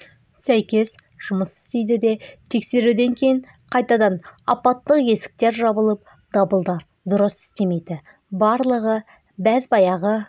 сәйкес жұмыс істейді де тексеруден кейін қайтадан апаттық есіктер жабылып дабылдар дұрыс істемейді барлығы бәз-баяғы